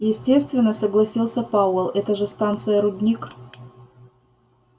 естественно согласился пауэлл это же станция-рудник